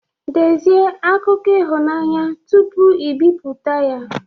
Dezie akụkọ ihunanya tupu i bipụta ya